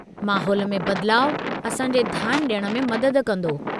माहौल में बदिलाउ असां जे ध्यानु ॾियण में मदद कंदो।